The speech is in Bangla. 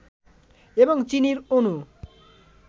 এবং চিনির অণু